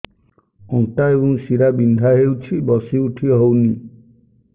ଅଣ୍ଟା ଏବଂ ଶୀରା ବିନ୍ଧା ହେଉଛି ବସି ଉଠି ହଉନି